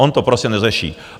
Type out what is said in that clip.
On to prostě neřeší.